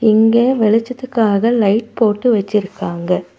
இங்க வெளிச்சத்துக்காக லைட் போட்டு வச்சுருக்காங்க.